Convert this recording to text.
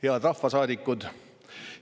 Head rahvasaadikud!